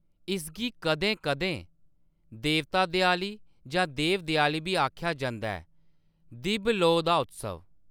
इसगी कदें-कदें देवता-देयाली जां देव-देयाली बी आखेआ जंदा ऐ, दिब्ब लोऽ दा उत्सव।